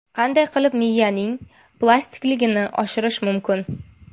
Qanday qilib miyaning plastikligini oshirish mumkin?.